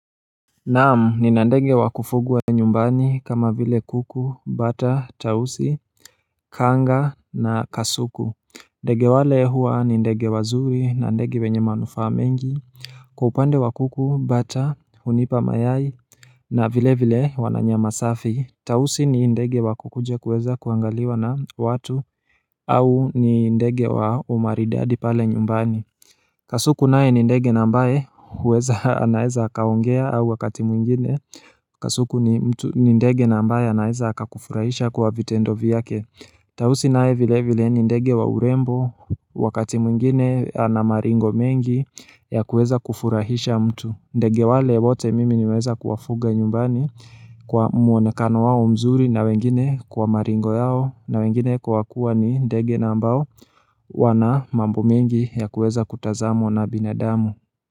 Naamu ni na ndege wa kufugwa nyumbani kama vile kuku, bata, tausi, kanga na kasuku ndege wale huwa ni ndege wazuri na ndege wenye manufaa mengi Kwaupande wa kuku, bata, hunipa mayai na vile vile wananyama safi Tawusi ni ndege wa kukuja kuweza kuangaliwa na watu au ni ndege wa umaridadi pale nyumbani Kasuku naye ni ndege na ambaye huweza anaeza kaongea au wakati mwingine Kasuku ni ndege na ambaye anaeza aka kufurahisha kuwa vitendo vyake Tawusi nae vile vile ni ndege wa urembo wakati mwingine ana maringo mengi ya kuweza kufurahisha mtu ndege wale wote mimi niweza kuwafuga nyumbani kwa muonekano wao mzuri na wengine kwa maringo yao na wengine kwa wakua ni ndege na ambao wana mambo mingi ya kueza kutazamo na binadamu.